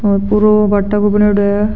ओ पुरों भाटा को बनाईंडो है।